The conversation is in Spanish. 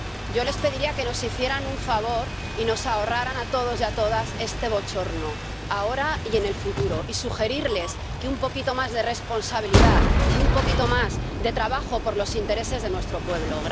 Yo les pediría que nos hicieran un favor y nos ahorraran a todos y a todas este bochorno, ahora y en el futuro, y sugeriría un poquito más de responsabilidad y un poquito más de trabajo por los intereses de nuestro pueblo.